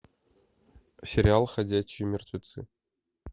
сериал ходячие мертвецы